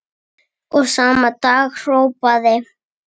Og sama dag hrópaði